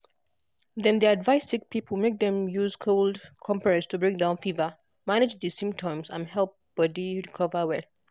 dem de advice sick people make dem use cold compress to bring down fever manage di symptoms and help body recover well.